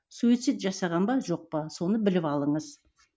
суицид жасаған ба жоқ па соны біліп алыңыз